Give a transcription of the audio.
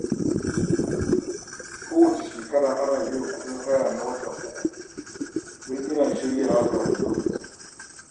Kowace shekara ina biyan kuɗin haya a watan uku, don ina shiryawa kafin lokacin.